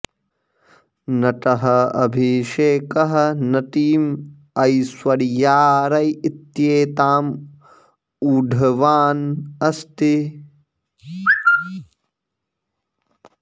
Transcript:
नटः अभिषेकः नटीम् ऐश्वर्या रै इत्येताम् ऊढवान् अस्ति